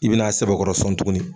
I bɛn' a sɛkɔrɔ sɔn tuguni